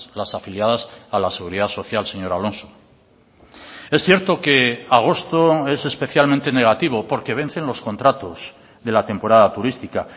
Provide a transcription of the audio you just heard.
las afiliadas a la seguridad social señor alonso es cierto que agosto es especialmente negativo porque vencen los contratos de la temporada turística